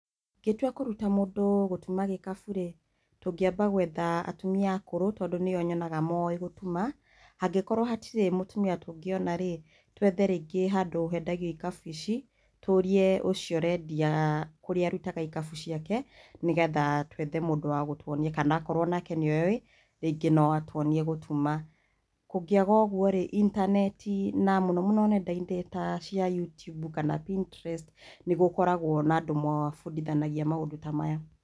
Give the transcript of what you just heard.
Ingĩtua kũruta mũndũ gũtuma gikabũ rĩ, tũngĩamba gwetha atumĩa akũrũ tondũ nĩo nyũnaga moĩ gũtuma. Hangĩkorwo hatirĩ mũtumia tũngĩona rĩ twethe rĩngĩ handũ hendagiũ ikabũ icĩ tũrie ũcio ũrendia kũrĩa arutaga ikabũ cĩake nĩgetha twethe mũndũ wa gũtuonia kana akorwo nake nĩoi rĩngĩ nũatuonĩe gũtuma. Kũngĩaga ũguo rĩ intanetĩ na mũno mũno nenda-inĩ ta cĩa youtube kana pininterest nĩgũkoragwo na andũ mabudithanagĩa maũndũ ta maya.